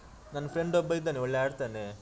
ಅಂದ್ರೆ ನನ್ ನನ್ friend ಒಬ್ಬ ಇದ್ದಾನೆ ಒಳ್ಳೆ ಆಡ್ತಾನೆ.